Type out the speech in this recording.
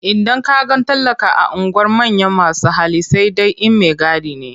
Idan ka ga talaka a unguwar manyan masu hali sai dai in maigadi ne.